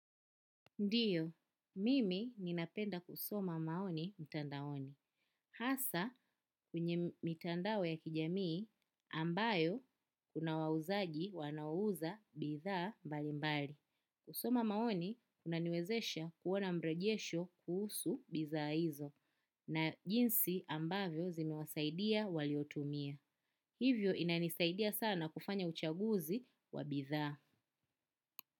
Ndiyo, mimi ninapenda kusoma maoni mtandaoni. Hasa kwenye mitandao ya kijamii ambayo kuna wauzaji wanaouza bidhaa mbalimbali. Kusoma maoni kunaniwezesha kuona mrejesho kuhusu bidhaa hizo na jinsi ambavyo zimewasaidia waliozitumia. Hivyo inanisaidia sana kufanya uchaguzi wa bidhaa.